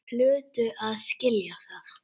Þeir hlutu að skilja það.